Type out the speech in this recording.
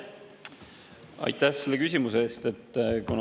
Aitäh selle küsimuse eest!